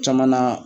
Caman na